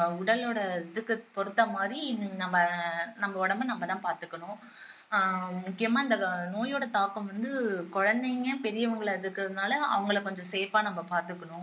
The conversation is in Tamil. உடலோட இதுக்கு பொறுத்த மாதிரி நம்ம நம்ம உடம்ப நம்ம தான் பாத்துக்கணும் ஆஹ் முக்கியமா இந்த நோயோட தாக்கம் வந்து குழந்தைங்க பெரியவங்களா இருக்கிறதுனால அவங்களை கொஞ்சம் safe ஆ நம்ம பாத்துக்கணும்